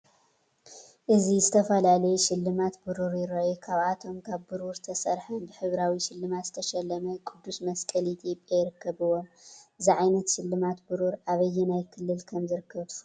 እዚ ዝተፈላለዩ ሽልማት ብሩር ይረኣዩ። ካብኣቶም ካብ ብሩር ዝተሰርሐን ብሕብራዊ ሽልማት ዝተሸለመ ቅዱስ መስቀል ኢትዮጵያ ይርከብዎም። እዚ ዓይነት ሽልማት ብሩር ኣብ ኣየናይ ክልል ከም ዝርከብ ትፈልጡ ዶ?